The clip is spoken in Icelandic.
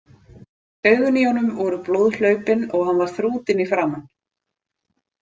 Augun í honum voru blóðhlaupin og hann var þrútinn í framan.